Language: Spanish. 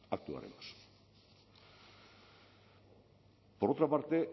actuaremos por otra parte